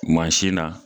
Mansin na